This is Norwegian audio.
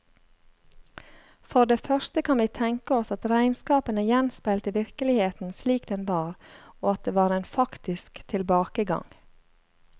For det første kan vi tenke oss at regnskapene gjenspeilte virkeligheten slik den var, og at det var en faktisk tilbakegang.